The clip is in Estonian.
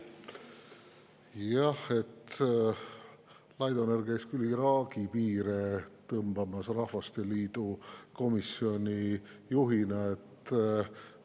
Laidoner käis Rahvasteliidu komisjoni juhina Iraagi piire tõmbamas.